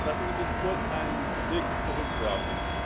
Lassen Sie mich kurz einen Blick zurück werfen.